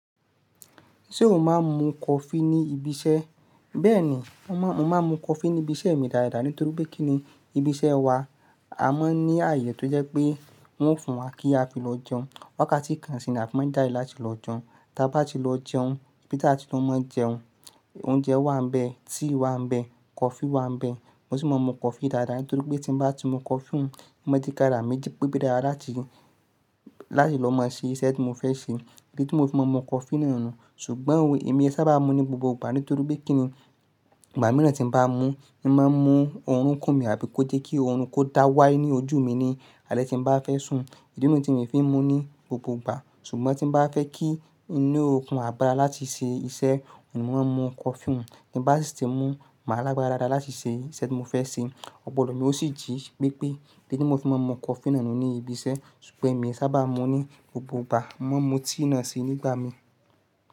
Ṣé o máa ń mu coffee ní ibi iṣẹ́? Bẹ́ẹ̀ni, mo maa mo máa ń mu coffee ní ibi iṣẹ́ mi dáadáa nítorí pé kíni ibi iṣẹ́ wa, a máa ń ní àyè tó jẹ́ pé wọ́n ó fún wa kí a fi lọ jẹun. Wákàtí kan sì ni a fi máa jáde láti lọ jẹun. Tabá ti lọ jẹun, bí tí a ti lọ máa ń jẹun. Oúnjẹ wà ń bẹ, tíì wà ń bẹ, coffee wà ń bẹ. Mo sì máa ń mu coffee dáadáa nítorí pé tí bá ti mu coffee un, ó máa jẹ kárà mí jí pẹ́ bí dára láti, láti lọ máa ṣe iṣẹ́ tí mo fẹ́ ṣe. Ìbí tí mo ti máa ń mu coffee náà nù. Ṣùgbọ́n ò, èmi ẹ sábà mú ní gbogbo ìgbà nítorí pé kíni ìgbà mìíràn tí ń bá mú, ìmo máa ń mu oorun kún mi àbí kó jé kí oorun kó dá wáí ní ojú mi ni alẹ́ tí ń bá fẹ́ sùn. Ìdí ni tí mi fi ń mú ní gbogbo ìgbà. Ṣùgbọ́n tí ń bá fẹ́ kí inú okùn á gbára láti ṣe iṣẹ́, mo máa ń mu coffee ni. Tí bá sì ti mú, màá lágbára dáadáa láti ṣe iṣẹ́ tí mo fẹ́ ṣe. Ọpọlọ mi o sì jí pé pé tó ni mo fi máa ń mu coffee náà nù ní ibi iṣẹ́. Ṣùgbọ́n èmi ẹ sábà mú ní gbogbo ìgbà, mo máa ń mu tíì náà sì nígbà mi.